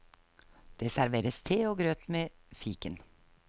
Det serveres te og grøt med fiken.